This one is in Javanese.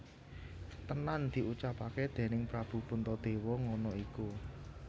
Tenan diucapake déning Prabu Puntadewa ngono iku